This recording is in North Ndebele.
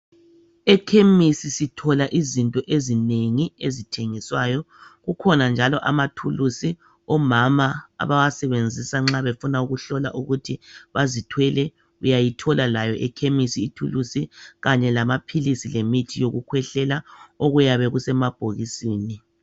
Ekhemisi sithola izinto ezinengi ezithengiswayo. Kukhona njalo amathulusi omama abawasebenzisa nxa befuna ukuhlola ukuthi bazithwele, uyayithola layo ekhemisi ithulusi kanye lamaphilisi lemithi yokukhwehlela okuyabe kusemabhokisini.